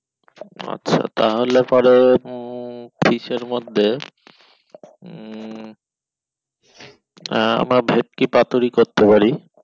আচ্ছা তাহলে পরে উম fish এর মধ্যে উম আহ আমরা ভেটকি পাতুরি করতে পারি